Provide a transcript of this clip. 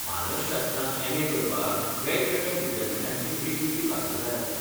मानसशास्त्रांत M. A. करपाक वेगवेगळ्या विद्यापीठांची वेगवेगळी पात्रताय आसता.